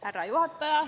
Härra juhataja!